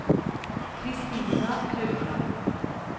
Kristina Haugland